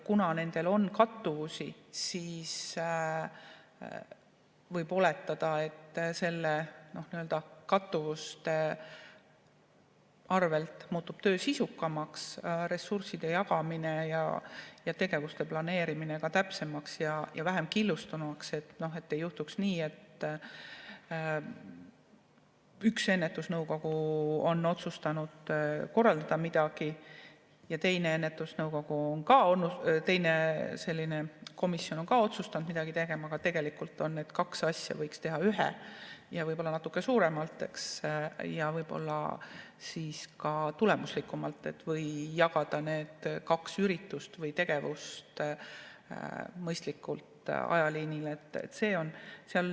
Kuna nendel on kattuvusi, siis võib oletada, et töö muutub sisukamaks, ressursside jagamine ja tegevuste planeerimine ka täpsemaks ja vähem killustunuks, et ei juhtuks nii, et üks ennetusnõukogu on otsustanud midagi korraldada ja teine komisjon on otsustanud midagi teha, aga tegelikult on need kaks asja, mille asemel võiks teha ühe ja võib-olla natuke suuremalt ja siis ka tulemuslikumalt, kui jagada need kaks üritust või tegevust mõistlikult ajaliinile.